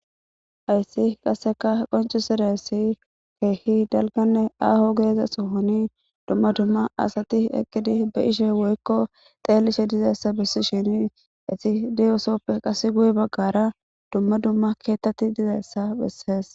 Hays qaseka qoncisidaya keeh dalganne aho Diza sohon dumma dumma asat eqid be'ishe woyko xelishe dizaysa besishn hays diyosoppe qase guye bagara dumma dumma ketat dizays beses.